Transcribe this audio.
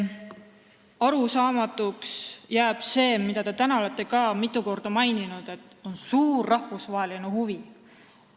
Arusaamatuks jääb see, mida te täna olete ka mitu korda maininud, et on suur rahvusvaheline huvi.